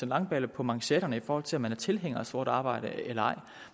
langballe på manchetterne i forhold til om man er tilhænger af sort arbejde eller ej